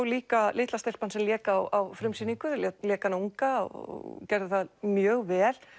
líka litla stelpan sem lék á frumsýningu lék lék hana unga og gerði það mjög vel